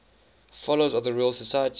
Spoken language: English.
fellows of the royal society